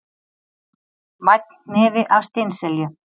Vænn hnefi af steinselju